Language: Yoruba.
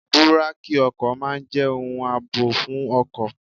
Búrákì ọkọ̀ máa ń jẹ́ ohun àbò fún ọkọ̀.